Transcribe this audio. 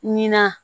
Ɲinan